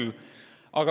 Vaevalt küll.